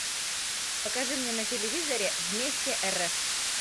покажи мне на телевизоре вместе рф